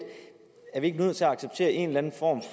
er vi ikke nødt til at acceptere en eller anden form